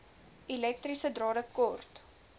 elektriese drade kort